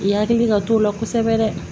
I hakili ka t'o la kosɛbɛ dɛ